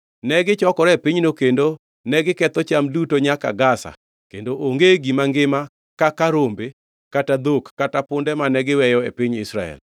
Negichokore e pinyno kendo negiketho cham duto nyaka Gaza kendo onge gima ngima kaka rombe kata dhok kata punde mane giweyo e piny Israel.